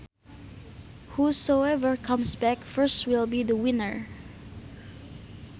Whosoever comes back first will be the winner